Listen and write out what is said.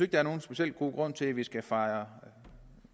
der er nogen speciel god grund til at vi skal fejre